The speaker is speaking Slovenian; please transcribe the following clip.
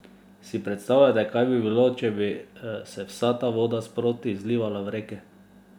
Si predstavljate, kaj bi bilo, če bi se vsa ta voda sproti izlivala v reke?